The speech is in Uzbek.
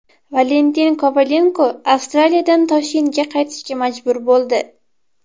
Valentin Kovalenko Avstraliyadan Toshkentga qaytishga majbur bo‘ldi.